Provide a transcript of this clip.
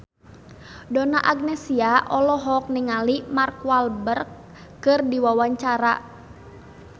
Donna Agnesia olohok ningali Mark Walberg keur diwawancara